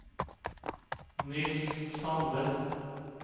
Niels Sande